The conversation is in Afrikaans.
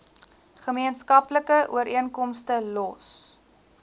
gemeenskaplike ooreenkomste los